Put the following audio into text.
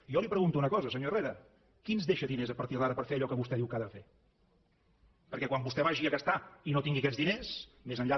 jo li pregunto una cosa senyor herrera qui ens deixa diners a partir d’ara per fer allò que vostè diu que ha de fer perquè quan vostè vagi a gastar i no tingui aquests diners més enllà